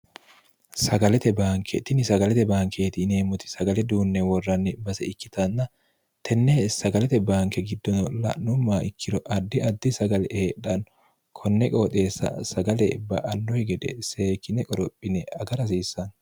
sagalete baankeetinni sagalete baankeeti ineemmoti sagale duunne worranni base ikkitanna tenne sagalete baanke giddono la'numma ikkiro addi addi sagale eedhanno konne qooxeessa sagale ba annoyi gede seekine qorophine agara hasiissanno